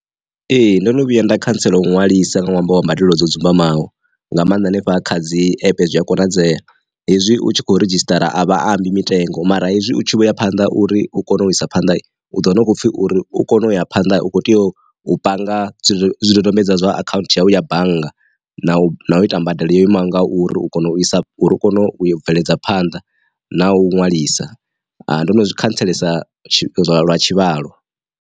Ee ndono vhuya nda khantsela u ṅwalisa nga ṅwambo wa mbadelo dzo dzumba imaho nga maanḓa hanefha kha dzi ape zwi a konadzea, hezwi u tshi kho redzhisitara a vhatambi mitengo mara hezwi u tshi vho ya phanḓa uri u kone u isa phanḓa u do wana hu khou pfhi uri u kone u ya phanḓa u kho tea u panga zwidodombedzwa zwa akhaunthu ya bannga na u ita mbadelo ya imaga uri u kone u isa uri u kone u bveledza phanḓa na u nwalisa. Ndo no zwi khantselesa lwa tshivhalo.